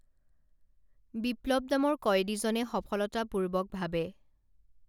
বিপ্লৱ নামৰ কয়দীজনে সফলতা পূৰ্বক ভাৱে